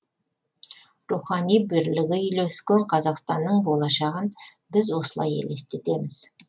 рухани бірлігі үйлескен қазақстанның болашағын біз осылай елестетеміз